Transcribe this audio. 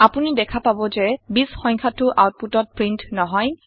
আপুনি দেখা পাব যে ২০ সংখ্যাটৌ আওতপুটত প্ৰীন্ট নহয়